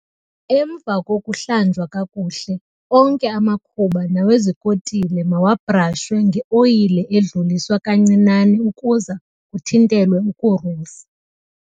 Emva kokuhlanjwa kakuhle, onke amakhuba nawezikotile mawabrashwe ngeoyile edluliswa kancinane ukuze kuthintelwe ukurusa.